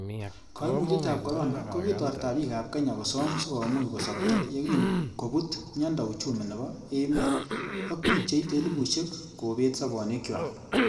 Koimutietab Corona, ko kitorta bik ab kenya kosoom sikomuch kosobcho yekin kobut miondo uchumi nebo emet, ak bik cheite elipusiek kobet sobonwekchwak.